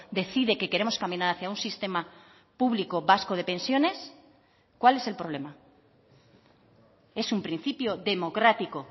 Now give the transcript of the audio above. decide que queremos caminar hacia un sistema público vasco de pensiones cuál es el problema es un principio democrático